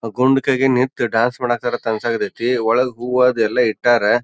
ಆ ಗೋಮುಖಾಗೆ ನಿಂತು ಡ್ಯಾನ್ಸ್ ಮಾಡಕ್ ಹತ್ರ್ಯಾರ ಅಂತ್ ಅಂಸಾತೇತಿ. ಒಳಗ ಹೂವ ಅದೆಲ್ಲ ಇಟ್ಟಾರ.